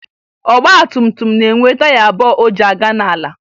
Ọgbatumtum na-enwe taya abụọ o ji aga n'ala